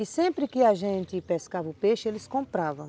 E sempre que a gente pescava o peixe, eles compravam.